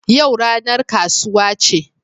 Yau ranar kasuwa ce